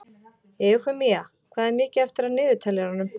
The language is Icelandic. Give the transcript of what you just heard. Eufemía, hvað er mikið eftir af niðurteljaranum?